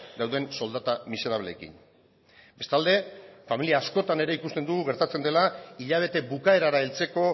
dauden soldata miserableekin bestalde familia askotan ere ikusten dugu gertatzen dela hilabete bukaerara heltzeko